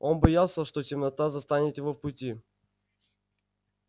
он боялся что темнота застанет его в пути